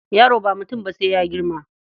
Yaro ba mutum ba sai ya girma.